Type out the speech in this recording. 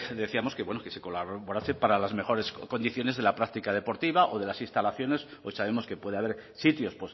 decíamos que bueno que colaborase para las mejores condiciones de la práctica deportiva o de las instalaciones hoy sabemos que puede haber sitios